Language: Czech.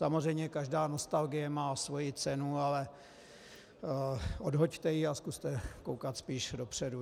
Samozřejmě každá nostalgie má svoji cenu, ale odhoďte ji a zkuste koukat spíš dopředu.